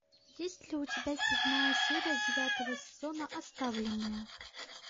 есть ли у тебя седьмая серия девятого сезона оставленные